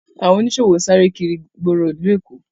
Awọn oniṣowo n sáré kiri igboro ìlú Èkó